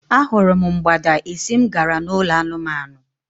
A hụrụ m mgbada esi m gara n'ụlọ anụmanụ.